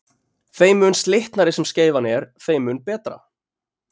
þeim mun slitnari sem skeifan er þeim mun betra